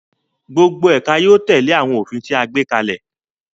Gbogbo ẹka yóò tẹle awọn ofin ti a gbe kalẹ